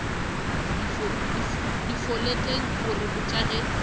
difoleteng o re botša ge